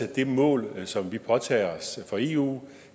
det mål som vi påtager os fra eu